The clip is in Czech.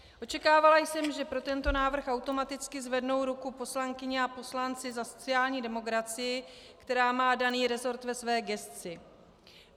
Očekávala jsem, že pro tento návrh automaticky zvednou ruku poslankyně a poslanci za sociální demokracii, která má daný resort ve své gesci.